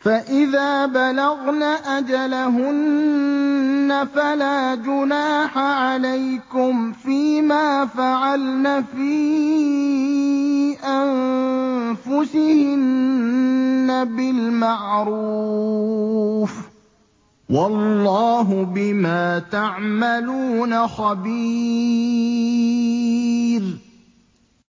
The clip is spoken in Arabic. فَإِذَا بَلَغْنَ أَجَلَهُنَّ فَلَا جُنَاحَ عَلَيْكُمْ فِيمَا فَعَلْنَ فِي أَنفُسِهِنَّ بِالْمَعْرُوفِ ۗ وَاللَّهُ بِمَا تَعْمَلُونَ خَبِيرٌ